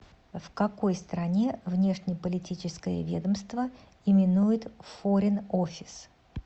в какой стране внешнеполитическое ведомство именуют форин офис